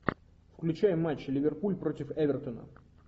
включай матч ливерпуль против эвертона